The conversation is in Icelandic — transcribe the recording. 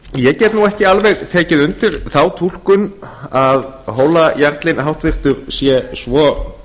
ég get nú ekki alveg dregið undir þá túlkun að hólajarlinn háttvirtur sé svo